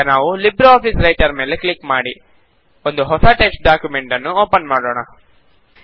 ಈಗ ನಾವು LibreOffice writer ಮೇಲೆ ಕ್ಲಿಕ್ ಮಾಡಿ ಒಂದು ಹೊಸ ಟೆಕ್ಸ್ಟ್ ಡಾಕ್ಯುಮೆಂಟ್ ನ್ನು ಓಪನ್ ಮಾಡೋಣ